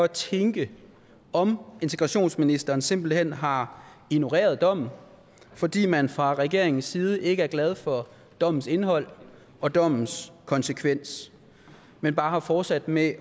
tænke om integrationsministeren simpelt hen har ignoreret dommen fordi man fra regeringens side ikke er glad for dommens indhold og dommens konsekvenser men bare har fortsat med